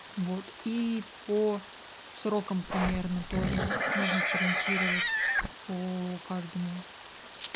вот и по срокам примерно тоже нужно сориентировать по каждому